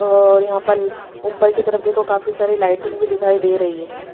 और यहां पल ऊपर की तरफ देखो काफी सारी लाइटिंग भी दिखाई दे रही है।